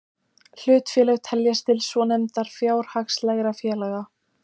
Hlutafélög teljast til svonefndra fjárhagslegra félaga.